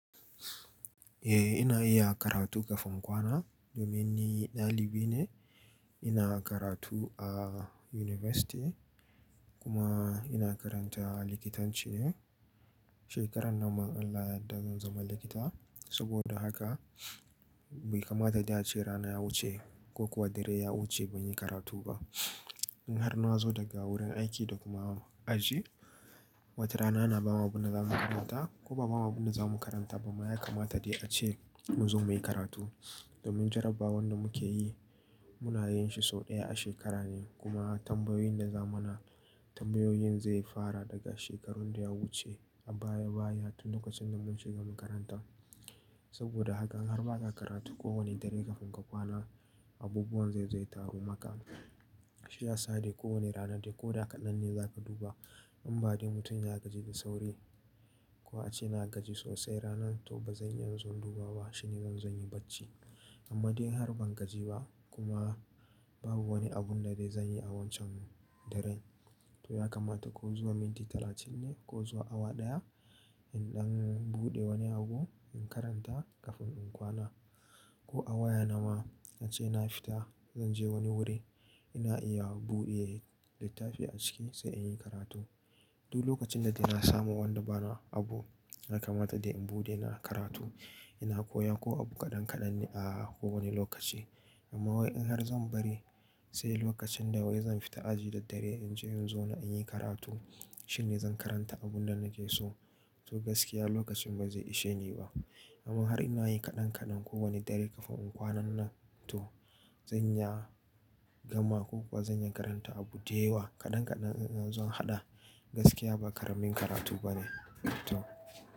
Eh ina iya karatu kafin kwana domin ni dalibi ne. Ina karatu a University kuma ina karanta likitanci ne. Shekarar nan ma Allah da zan zama likita. Saboda haka bai kamata da a ce rana ya wuce ko kuwa dare ya wuce ban yi karatu ba. In har nazo daga wurin aiki da kuma aji, wata rana ana bawa abunda zamu karanta ko ba abamu abunda zamu karanta ba. Ma ya kamata dai ace mu zo muyi karatu domin jarabawar da muke yi muna yin shi sau ɗaya a shekara ne. Kuma tambayoyin da zamana tambayoyin zai fara daga shekarar da ya wuce a baya baya tun lokacin da mun shiga makaranta. Saboda haka in har ba ka karatu kowane dare kafin ka kwana abubuwan zai zai taru maka. Shi ya sa da kowane rana da ko da kaɗan ne za ka duba. In ba dai mutum ya gaji da sauri ko a ce na gaji sosai ranar to ba zan iya inzo duba ba shine zan zo yin bacci. Amma dai in har ban gaji ba kuma babu wani abun da dai zan yi a wancan daren to ya kamata ko zuwa minti talatin ne ko zuwa awa ɗaya in ɗan buɗe wani abu in karanta kafin in kwana. Ko a waya na ma a ce na fita, zan je wani wuri ina iya buɗe littafi a ciki sai in yi karatu. Duk lokacin da dai na samu wanda bana abu ya kamata dai in buɗe na karatu. Ina koya ko abu kaɗan kaɗan ne a kowane lokaci. Amma wai in har zan bari sai lokacin da wai zan fita aji da dare in je inzo na in yi karatu shine zan karanta abun da nake so. To gaskiya lokacin bai zai ishe ni ba. Amma har ina yi kaɗan kaɗan kowane dare kafin in kwana nan to zan iya gama ko kuwa zan iya karanta abu da yawa kaɗan kaɗan zan zo hada. Gaskiya ba ƙaramin karatu ba ne. To.